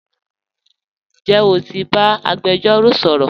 Njẹ́ o ti ba agbẹ̀jọ̀ro sọ̀rọ̀?